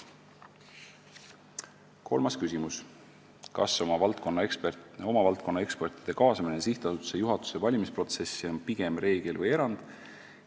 Kolmas küsimus: "Kas oma valdkonna ekspertide kaasamine sihtasutuse juhatuse valimisprotsessi on pigem reegel või erand?